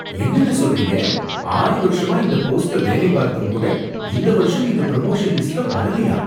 என்னங்க சொல்றீங்க ஆறு வருஷமா இந்த போஸ்ட்ல வேலை பார்த்தும் கூட இந்த வருஷம் நீங்க ப்ரமோஷன் லிஸ்ட்ல வரலயா